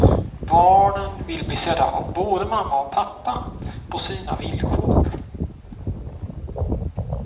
Barnen vill bli sedda av både mamma och pappa, på sina villkor.